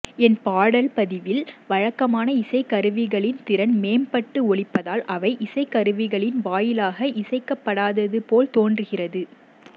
என் பாடல் பதிவில் வழக்கமான இசைக்கருவிகளின் திறன் மேம்பட்டு ஒலிப்பதால் அவை இசைக்கருவிகளின் வாயிலாக இசைக்கப்படாதது போல் தோன்றுகிறது